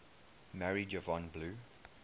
married yvonne blue